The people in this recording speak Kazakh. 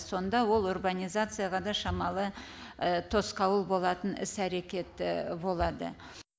сонда ол урбанизацияға да шамалы тосқауыл болатын іс әрекет болады